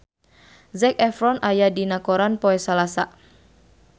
Zac Efron aya dina koran poe Salasa